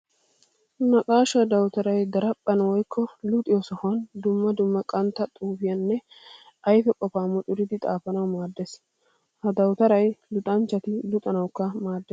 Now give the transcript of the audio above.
Naqaasha dawutaray daraphphan woykko luxiyo sohuwan dumma dumma qantta xuufiyanne ayfe qofa mucuriddi xaafanawu maades. Ha dawutaray luxanchchatti luxanawukka maades.